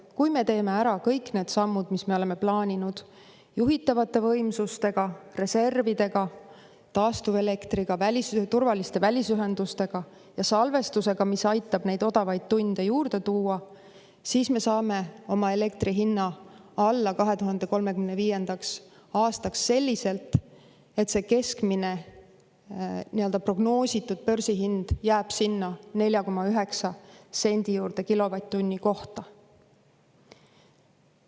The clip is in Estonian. Kui me teeme ära kõik need sammud, mis me oleme plaaninud juhitavate võimsustega, reservidega, taastuvelektriga, turvaliste välisühendustega ja salvestusega, mis aitab odavaid tunde juurde tuua, siis me saame oma elektri hinna 2035. aastaks alla selliselt, et keskmine prognoositud börsihind on 4,9 senti kilovatt-tunni eest.